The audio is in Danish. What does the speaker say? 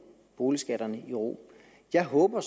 boligskatterne i ro jeg håber